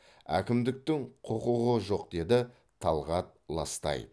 әкімдіктің құқығы жоқ деді талғат ластаев